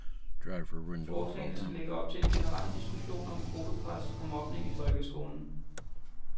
Forslagene skal lægge op til en generel diskussion om gruppepres og mobning i folkskolen.